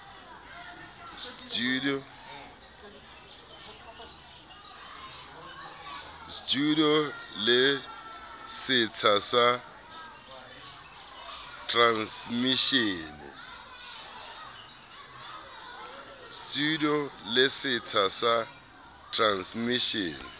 studio le setsha sa transmishene